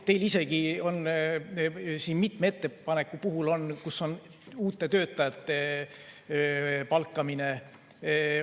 Teil isegi on siin mitme ettepaneku puhul uute töötajate palkamine.